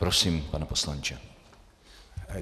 Prosím, pane poslanče.